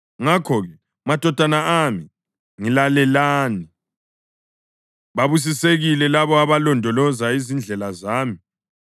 Ngakho-ke, madodana ami, ngilalelani; babusisekile labo abalondoloza izindlela zami.